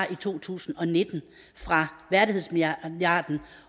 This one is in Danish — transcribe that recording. i to tusind og nitten fra værdighedsmilliarden